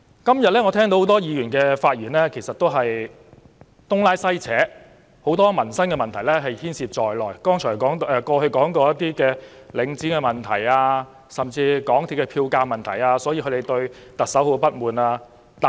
今天我聽到多位議員的發言其實也是東拉西扯，很多民生問題也牽涉在內，例如領展房地產投資信託基金的問題，甚至港鐵票價問題，都是他們不滿行政長官的原因。